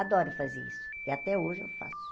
Adoro fazer isso, e até hoje eu faço.